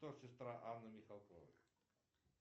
кто сестра анны михалковой